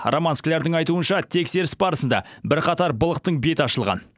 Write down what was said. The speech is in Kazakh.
роман склярдың айтуынша тексеріс барысында бірқатар былықтың беті ашылған